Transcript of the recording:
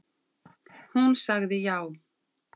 Hún sagði já.